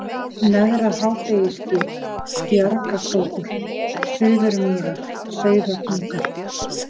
Neðra-Hádegisgil, Bjargakrókur, Suðurmýrar, Sauðatunga